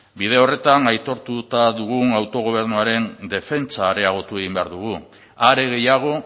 bide horretan aitortuta dugun autogobernuaren defentsa areagotu egin behar dugu are gehiago